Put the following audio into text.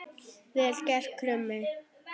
Vel gert, Krummi!